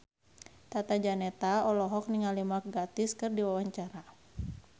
Tata Janeta olohok ningali Mark Gatiss keur diwawancara